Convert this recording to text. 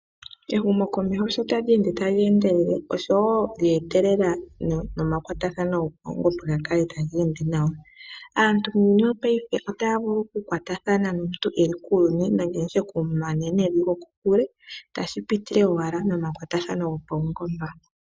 Ehumo komeho sho tali ende tali endelele lyetelela nomakwatathano go pawungomba ga kale tage ende naw. Aantu muuyuni wopayife otaya vulu oku kwatathana nomuntu eli kuuyuni nenge nditye nomunanene eli kokule tashi pitile owala momakwatathano gopawungomba.